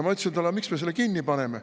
Ma küsisin temalt, miks me selle kinni paneme.